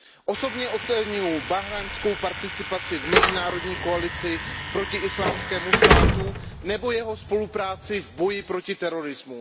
Osobně oceňuji bahrajnskou participaci v mezinárodní koalici proti Islámskému státu nebo jeho spolupráci v boji proti terorismu.